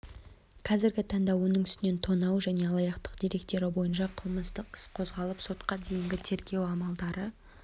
қазіргі таңда оның үстінен тонау және алаяқтық деректері бойынша қылмыстық іс қозғалып сотқа дейінгі тергеу амалдары